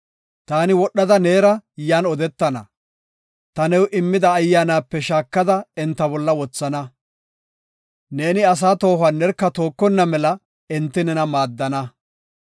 Taani wodhada neera yan odetana; ta new immida Ayyaanape shaakada enta bolla wothana. Neeni asaa toohuwa nerka tookonna mela enti nena maaddana.